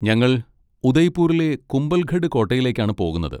ഞങ്ങൾ ഉദയ്പൂരിലെ കുംഭൽഗഡ് കോട്ടയിലേക്കാണ് പോകുന്നത്.